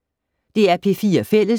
DR P4 Fælles